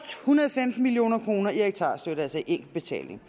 hundrede og femten million kroner i hektarstøtte altså i enkeltbetaling